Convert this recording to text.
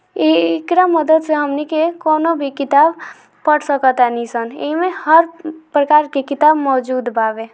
ई एकरा मदद से हमनीके कोनू भी किताब पढ़ सकतानी एमे हर प्रकार के किताब मौजूद बा वे।